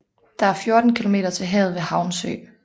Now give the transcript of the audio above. Der er 14 kilometer til havet ved Havnsø